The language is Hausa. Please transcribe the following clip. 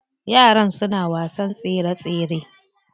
Yaran suna wasan tsere tsere.